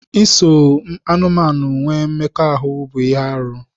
Iso anụmanụ nwee mmekọahụ bụ ihe arụ.